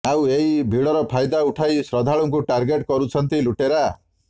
ଆଉ ଏହି ଭିଡର ଫାଇଦା ଉଠାଇ ଶ୍ରଦ୍ଧାଳୁଙ୍କୁ ଟାର୍ଗେଟ୍ କରୁଛନ୍ତି ଲୁଟେରା